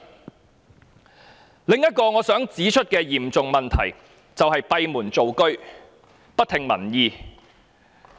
她的另一嚴重問題是閉門造車，不聽民意。